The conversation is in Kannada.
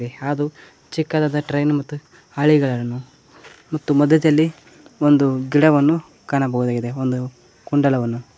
ಯಾದು ಚಿಕ್ಕದಾದ ಟ್ರೈನ್ ಮತ್ತು ಹಳಿಗಳನ್ನು ಮತ್ತು ಮದ್ಯದಲ್ಲಿ ಒಂದು ಗಿಡವನ್ನು ಕಾಣಬಹುದಾಗಿದೆ ಕುಂಡಲವನ್ನು.